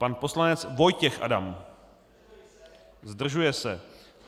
Pan poslanec Vojtěch Adam: Zdržuje se.